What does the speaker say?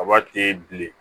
Aba te bilen